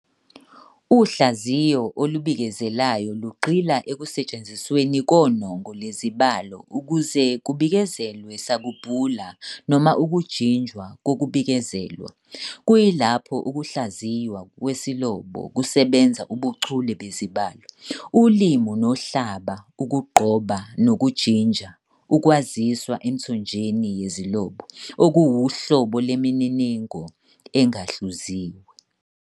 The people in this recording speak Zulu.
Uhlaziyo olubikezelayo lugxila ekusetshenzisweni konongo lezibalo ukuze kubikezelwe sakubhula noma ukujinjwa kokubikezelwa, kuyilapho ukuhlaziywa kwesilobo kusebenza ubuchule bezibalo, ulimi nohlaka ukugqoba nokujinja ukwaziswa emthonjeni yezilobo, okuwuhlobo lemininingo engahluziwe.